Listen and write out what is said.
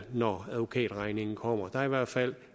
når advokatregningen kommer der er i hvert fald